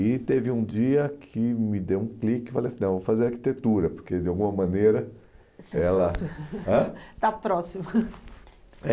E teve um dia que me deu um clique e falei assim, não, vou fazer arquitetura, porque de alguma maneira ela ... Está próximo ãh Está próximo é